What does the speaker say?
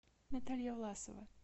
наталья власова